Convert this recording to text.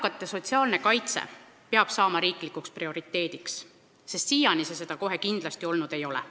Eakate sotsiaalne kaitse peab saama riiklikuks prioriteediks, sest siiani see seda kohe kindlasti olnud ei ole.